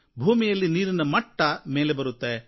ಭೂಮಿಯಲ್ಲಿ ನೀರಿನ ಮಟ್ಟ ಮೇಲೆ ಬರುತ್ತೆ